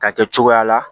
Ka kɛ cogoya la